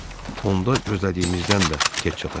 Onda gözlədiyimizdən də tez çatacağıq.